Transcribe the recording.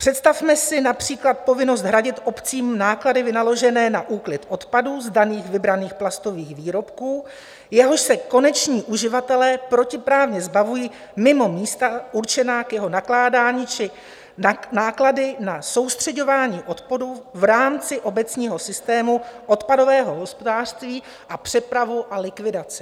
Představme si například povinnost hradit obcím náklady vynaložené na úklid odpadu z daných vybraných plastových výrobků, jehož se koneční uživatelé protiprávně zbavují mimo místa určená k jeho nakládání, či náklady na soustřeďování odpadu v rámci obecního systému odpadového hospodářství a přepravu a likvidaci.